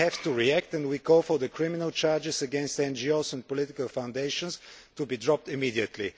We have to react and we call for the criminal charges against NGOs and political foundations to be dropped immediately.